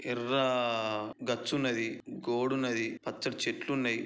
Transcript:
ఎర్రా గచ్చు ఉన్నది గోడ ఉన్నది పచ్చటి చెట్లు ఉన్నాయి.